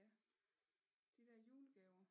Ja de der julegaver